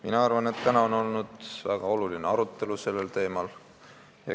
Mina arvan, et täna on olnud väga oluline arutelu sellel teemal.